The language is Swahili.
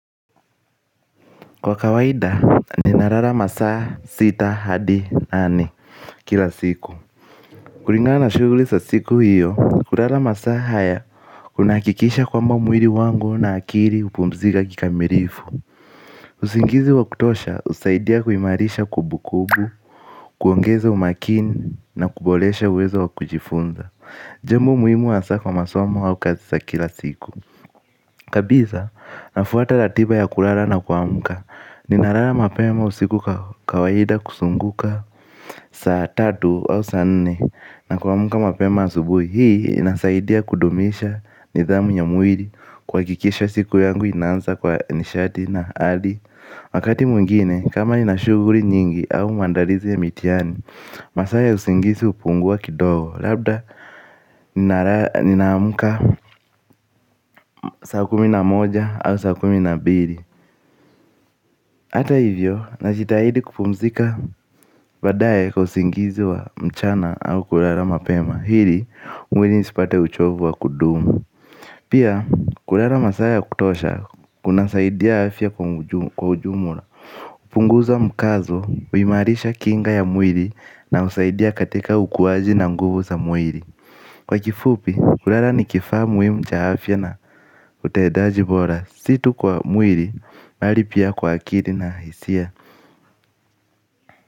Kwa kawaida ninalala masaa sita hadi nane kila siku. Kulingana na shughuli za siku hiyo, kulala masaa haya kunahakikisha kwamba mwili wangu na akili hupumzika kikamilifu. Usingizi wa kutosha husaidia kuimarisha kumbukumbu, kuongeza umakini na kuboresha uwezo wa kujifunza. Jambo muhimu hasa kwa masomo au kazi sa kila siku. Kabisa, nafuata ratiba ya kulala na kuamka, ninalala mapema usiku kawaida kusznguka. Saa tatu au saa nnne na kuamka mapema asubuhi. Hii, inasaidia kudumisha nidhamu ya mwili kuhakikisha siku yangu inanza kwa nishati na hali. Wakati mwingine, kama nina shughuli nyingi au maandalizi ya mitiani, masaa ya usingizi hupungua kidogo labda ninaamka. Saa kumi na moja au saa kumi na mbili. Hata hivyo najitahidi kupumzika baadaye kwa usingizi wa mchana au kulala mapema ili mwili isipate uchovu wa kudumu. Pia kulala masaa ya kutosha kunasaidia afya kwa ujumla. Punguza mkazo kuimarisha kinga ya mwili na husaidia katika ukuaji na mguvu za mwili. Kwa kifupi, kulala ni kifaa muhimu cha afyana utendaji bora si tu kwa mwili, bali pia kwa akili na hisia.